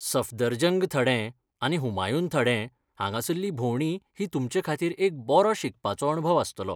सफदरजंग थडें आनी हुमायून थडें हांगासल्ली भोंवडी ही तुमचेखातीर एक बरो शिकपाचो अणभव आसतलो.